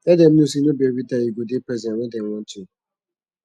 let dem no sey no bi evritime yu go dey present wen dem want yu